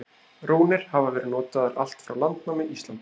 rúnir hafa verið notaðar allt frá landnámi íslands